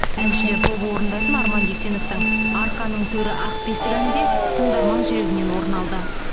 әншілер тобы орындайтын арман дүйсеновтің арқаның төрі ақ бесік әні де тыңдарман жүрегінен орын алды